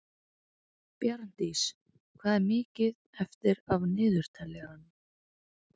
Bjarndís, hvað er mikið eftir af niðurteljaranum?